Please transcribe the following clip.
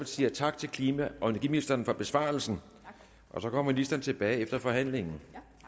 siger tak til klima og energiministeren for besvarelsen og så kommer ministeren tilbage efter forhandlingen